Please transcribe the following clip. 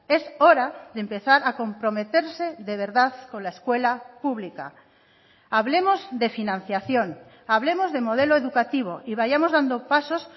es hora de empezar a comprometerse de verdad con la escuela pública hablemos de financiación hablemos de modelo educativo y vayamos dando pasos